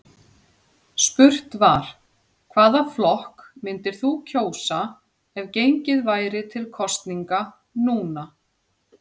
Spurt var, hvaða flokk myndir þú kjósa ef gengið væri til kosninga núna?